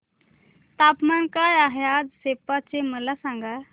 तापमान काय आहे आज सेप्पा चे मला सांगा